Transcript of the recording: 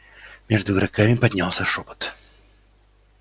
между игроками поднялся шёпот